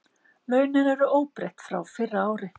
Launin eru óbreytt frá fyrra ári